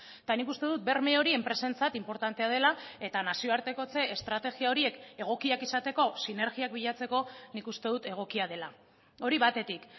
eta nik uste dut berme hori enpresentzat inportantea dela eta nazioartekotze estrategia horiek egokiak izateko sinergiak bilatzeko nik uste dut egokia dela hori batetik